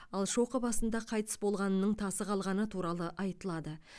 ал шоқы басында қайтыс болғанының тасы қалғаны туралы айтылады